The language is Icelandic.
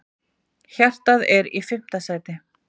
Hjartað er í fimmta sæti.